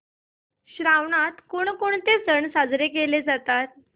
श्रावणात कोणकोणते सण साजरे केले जातात